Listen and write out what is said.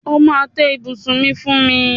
O máa tẹ́ ibùsùn mi fún mi.